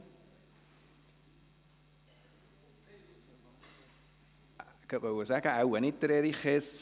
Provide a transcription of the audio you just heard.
Ich wollte gerade sagen, dass wohl nicht Erich Hess spricht.